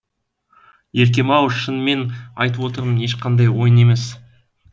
еркем ау шынымды айтып отырмын ешқандай ойын емес